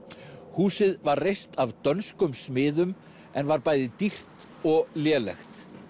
húsið var reist af dönskum smiðum en var bæði dýrt og lélegt